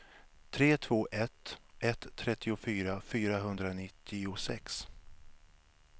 tre två ett ett trettiofyra fyrahundranittiosex